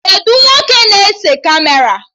Kedụ nwoke na-ese Kamera?